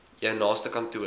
jou naaste kantoor